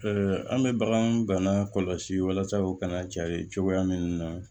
an bɛ bagan bana kɔlɔsi walasa u kana cari cogoya min na